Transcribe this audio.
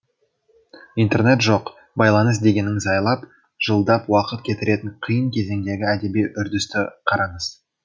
интернет жоқ байланыс дегеніңіз айлап жылдап уақыт кетіретін қиын кезеңдегі әдеби үрдісті қараңыз